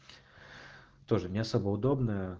тоже не особо удобно